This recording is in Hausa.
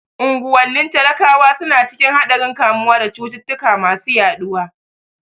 Unguwannin talakawa suna cikin haɗarin kamuwa da cututtuka masu yaɗuwa.